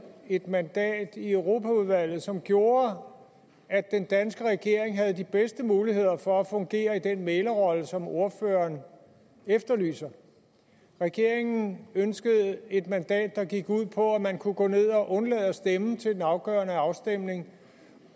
et mandat i europaudvalget som gjorde at den danske regering havde de bedste muligheder for at fungere i den mæglerrolle som ordføreren efterlyser regeringen ønskede et mandat der gik ud på at man kunne gå ned og undlade at stemme til den afgørende afstemning